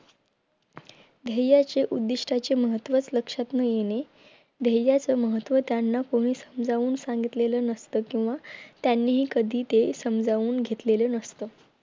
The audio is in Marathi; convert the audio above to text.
ध्येयाचे उद्दिष्ठाचे महत्वच लक्षात न येणे ध्येयाच महत्व त्यांना कोणी समजावून सागितलं नसात किंवा त्यांनी हि कधी ते समजावून घेतलेले नसत